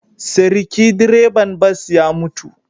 Seriki direban bas ya mutu